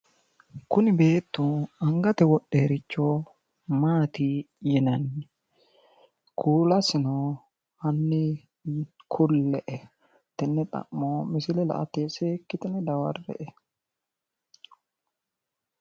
Kuni beettu angate wodheyoricho maati yinanni? Kuulasino hanni kulle''e. Tenne xa'mo misile la''ate seekkitine dawarre''e.